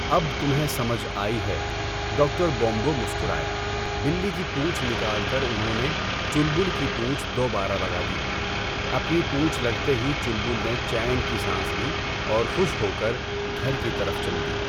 اب تمہیں سمجھ آئی ہے، ڈاکٹر بومبو مسکرائے۔ بلّی کی پونچھ نکال کر انہوں نے چلبل کی پونچھ دوبارا لگا دی۔ اپنی پونچھ لگتے ہی چلبل نے چین کی سانس لی اور خوش ہو کر گھر کی طرف چل دی۔